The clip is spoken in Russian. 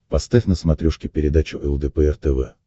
поставь на смотрешке передачу лдпр тв